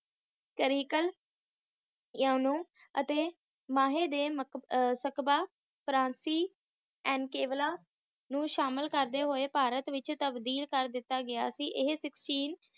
ਕਾਰੀਕਲ ਏਹਾ ਓਹਨੂੰ ਅਤੇ ਮਾਹੀ ਦੇ ਮਕ ਸਕਬਾ ਫਰਾਚੀ ਅੰਕੇਬਲਾ ਨੂੰ ਸ਼ਾਮਿਲ ਕਾਰਦੇ ਹੋਏ ਭਾਰਤ ਵਿੱਚ ਤਬਦੀਲ ਕਰ ਦਿਤਾ ਗਿਆ ਸੀ ਇਹ Sixteen